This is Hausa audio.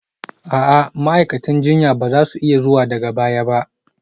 A'a, ma'aikatan jinya ba za su iya zuwa daga baya ba